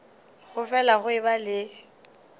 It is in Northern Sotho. go fele go eba le